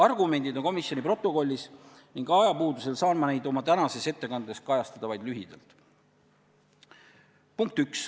Argumendid on kirjas komisjoni protokollis ning ajapuudusel saan ma neid oma tänases ettekandes kajastada vaid lühidalt.